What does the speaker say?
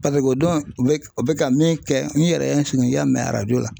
o don bɛ u bɛ ka min kɛ min yɛrɛ ye n sigi n y'a mɛn arajo la